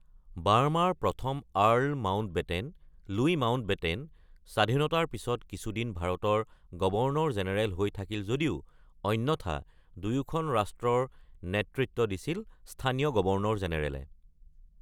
বাৰ্মাৰ ১ম Earl Mountbatten, Louis Mountbatten স্বাধীনতাৰ পিছত কিছুদিন ভাৰতৰ গৱৰ্ণৰ জেনেৰেল হৈ থাকিল যদিও অন্যথা দুয়োখন ৰাষ্ট্ৰৰ নেতৃত্ব দিছিল স্থানীয় গৱৰ্ণৰ জেনেৰেলে।